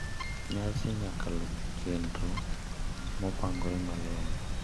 Nyasi nyaka luw chenro mopangore malong`o.